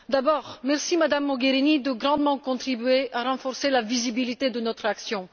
D'abord, je vous remercie, Madame Mogherini, de grandement contribuer à renforcer la visibilité de notre action.